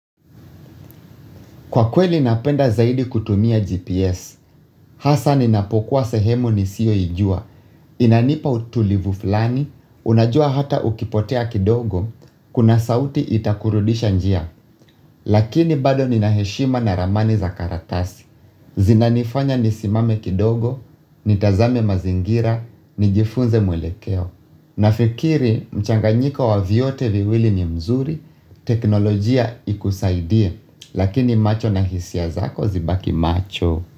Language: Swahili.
Kwa kweli napenda zaidi kutumia GPS, hasa ninapokuwa sehemu ni siyo ijua, inanipa utulivu fulani, unajua hata ukipotea kidogo, kuna sauti itakurudisha njia. Lakini bado ni naheshima na ramani za karatasi, zinanifanya ni simame kidogo, ni tazame mazingira, ni jifunze mwelekeo. Nafikiri mchanganyiko wa vyote viwili ni mzuri, teknolojia ikusaidie, lakini macho na hisia zako zibaki macho.